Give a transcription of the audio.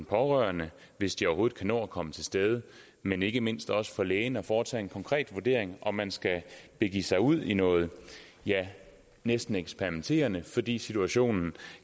pårørende hvis de overhovedet kan nå at komme til stede men ikke mindst også for lægen at foretage en konkret vurdering af om man skal begive sig ud i noget ja næsten eksperimenterende fordi situationen